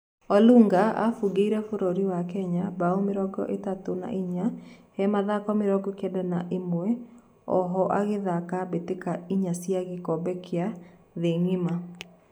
Olunga abugĩire bũrũri wa Kenya mbao mĩrongo ĩtatũ na inya he mathako mĩrongo kenda na ĩmwe, oho agĩthaka mbĩtĩka inya cia gĩkombe kĩa thĩ ngima